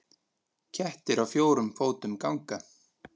Kettir á fjórum fótum ganga.